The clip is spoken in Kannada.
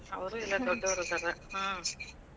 ಅವರು ಇಬ್ರೂ ದೊಡ್ಡೋರಿದಾರ ಹ್ಮ್.